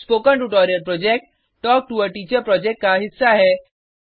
spoken tutorial project talk to a teacher project का हिस्सा है